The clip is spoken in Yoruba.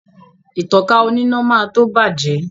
Ìtankà oníná máa tó bàjẹ́